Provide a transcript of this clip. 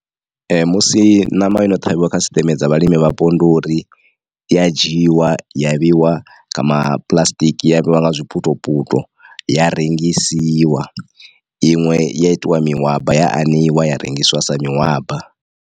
Ee musi ṋama yo no ṱhavhiwa kha sisiteme dza vhalimi vhapo ndi uri i ya dzhiwa ya vheiwa kha ma puḽasitiki ya vheiwa nga zwiputo puto ya rengisiwa iṅwe ya itiwa mihwaba ya aneiwa ya rengisiwa sa mihwaba.